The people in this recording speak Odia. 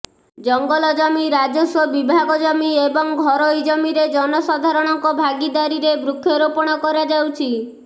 ଜଙ୍ଗଲ ଜମି ରାଜସ୍ୱ ବିଭାଗ ଜମି ଏବଂ ଘରୋଇ ଜମିରେ ଜନସାଧାରଣଙ୍କ ଭାଗିଦାରୀରେ ବୃକ୍ଷରୋପଣ କରାଯାଉଛି